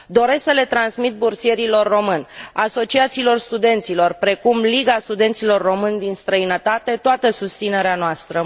Doresc să le transmit bursierilor români, asociațiilor studenților precum Liga Studenților Români din Străinătate toată susținerea noastră.